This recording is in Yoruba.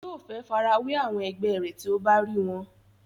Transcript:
yóò fẹ́ farawé àwọn ẹgbẹ́ rẹ̀ tí ó bá rí wọn